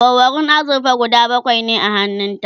awarwarun azurfa guda bakwai ne a hannun ta